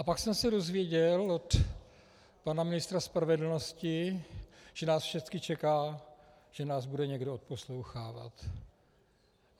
A pak jsem se dozvěděl od pana ministra spravedlnosti, že nás všechny čeká, že nás bude někdo odposlouchávat.